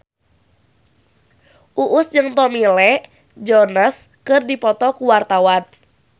Uus jeung Tommy Lee Jones keur dipoto ku wartawan